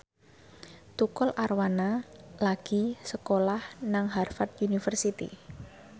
Tukul Arwana lagi sekolah nang Harvard university